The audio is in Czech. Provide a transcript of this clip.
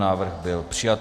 Návrh byl přijat.